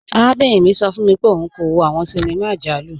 Arábìnrin mi sọ fun mi pẹ̀lú ọun kò wò awọn ṣíníma ọjàlù.